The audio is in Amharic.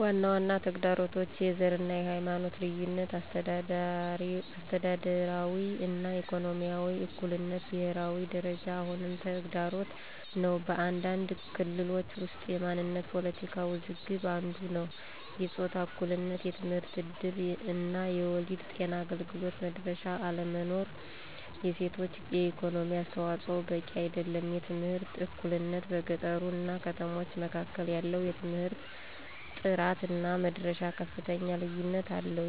ዋና ዋና ተግዳሮቶች፦ # የዘር እና የሃይማኖት ልዩነቶች - አስተዳደራዊ እና ኢኮኖሚያዊ እኩልነት በብሄራዊ ደረጃ አሁንም ተግዳሮት ነው። በአንዳንድ ክልሎች ውስጥ የማንነት ፖለቲካ ውዝግብ አንዱ ነዉ። #የጾታ እኩልነት የትምህርት እድል እና የወሊድ ጤና አገልግሎት መድረሻ አለመኖር። የሴቶች የኢኮኖሚ አስተዋፅዖ በቂ አይደለም። #የትምህርት እኩልነት - በገጠሮች እና ከተሞች መካከል ያለው የትምህርት ጥራት እና መድረሻ ከፍተኛ ልዩነት አለው።